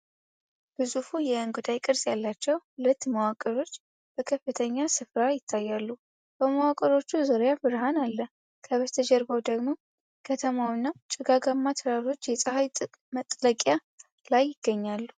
ግዙፍ የእንጉዳይ ቅርጽ ያላቸው ሁለት መዋቅሮች በከፍተኛ ስፍራ ይታያሉ። በመዋቅሮቹ ዙሪያ ብርሃን አለ፤ ከበስተጀርባው ደግሞ ከተማውና ጭጋጋማ ተራሮች የፀሐይ መጥለቂያ ላይ ይገኛሉ።